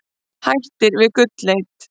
Hættir við gullleit